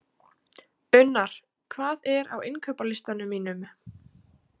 Unnar, hvað er á innkaupalistanum mínum?